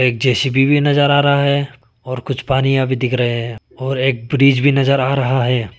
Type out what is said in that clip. एक जे_सी_बी भी नजर आ रहा है और कुछ पानीया भी दिख रहे हैं और एक ब्रिज भी नजर आ रहा है।